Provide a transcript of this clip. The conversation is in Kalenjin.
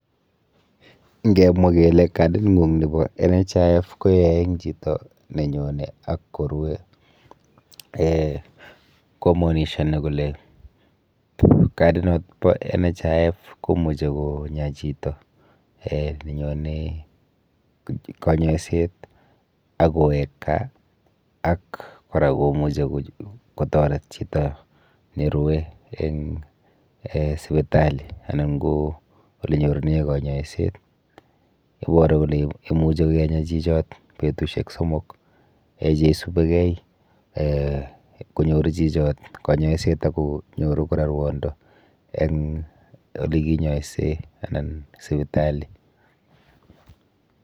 Nkemwa kele kading'ung nepo national health insurance fund koyoe eng chito nenyone ak korue um komonishone kole kadinot po national health insurance fund kumuchi konya chito um nenyone kanyoiset ak kowek kaa ak kora komuchi kotoret chito nerue eng um sipitali anan ko olenyorune kanyoiset. Iboru kole imuche kenya chichot betushek somok um cheisubekei um konyoru chichot kanyoiset akonyoru kora rwondo eng olekinyoise anan sipitali.